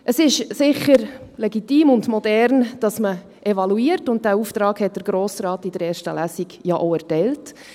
Es ist sicher legitim und modern, dass man evaluiert, und diesen Auftrag hat der Grosse Rat in der ersten Lesung ja auch erteilt.